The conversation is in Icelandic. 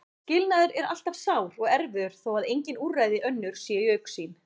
Skilnaður er alltaf sár og erfiður þó að engin úrræði önnur séu í augsýn.